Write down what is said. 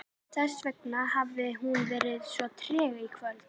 Þessvegna hafði hún verið svo treg í kvöld.